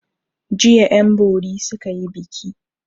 Jiya 'yanbori suka yi biki.